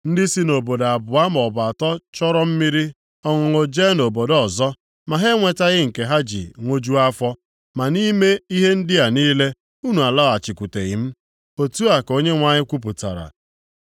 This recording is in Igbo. Ndị si obodo abụọ maọbụ atọ chọrọ mmiri ọṅụṅụ jee nʼobodo ọzọ, ma ha enwetaghị nke ha ji aṅụju afọ, ma nʼime ihe ndị a niile unu alọghachikwuteghị m.” Otu a ka Onyenwe anyị kwupụtara.